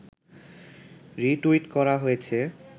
retweet করা হয়েছে